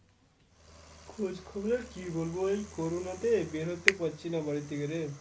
খোঁজ খবর র কি বলবো, এই corona তে বেরোতে পারছিনা বাড়ি থেকে রে।